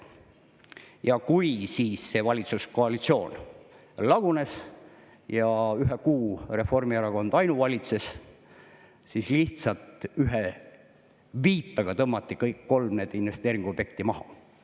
Ja kui siis see valitsuskoalitsioon lagunes ja ühe kuu Reformierakond ainuvalitses, siis lihtsalt ühe viipega tõmmati kõik need kolm investeeringuobjekti maha.